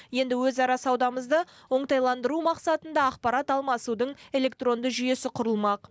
енді өзара саудамызды оңтайландыру мақсатында ақпарат алмасудың электронды жүйесі құрылмақ